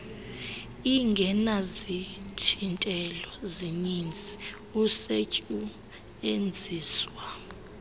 ingenazithintelo zininzi usetyuenziswa